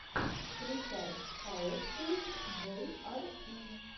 включай пауэфул джей ар и